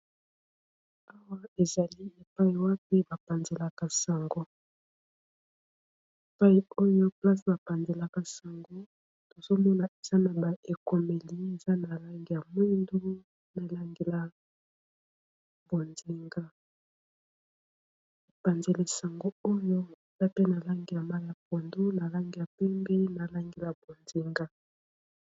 Awa ezali epayi wapi bapanzelaka sango pai oyo place bapanzelaka sango tozomona eza na ba ekomeli eza na langi ya mwingu na langila bondinga epanzela sango oyo eza pe na lange ya ma ya pondo na langi ya pembeye na langila bondinga